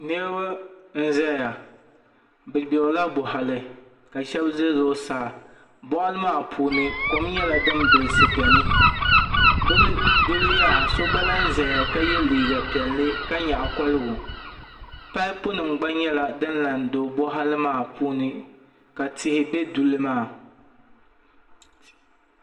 Niraba n ʒɛya bi gbirila boɣali ka shab ʒɛ zuɣusaa boɣali maa puuni kom nyɛla din bilisi biɛni duli yaha so gba lahi ʒɛya ka yɛ liiga piɛlli ka nyaɣa koligu paipu nim gba nyɛla din lahi do boɣali maa puuni ka tihi bɛ duli maa